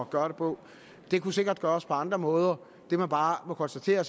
at gøre det på det kunne sikkert gøres på andre måder det man bare må konstatere